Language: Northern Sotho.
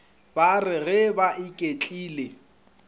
ba re ge ba iketlile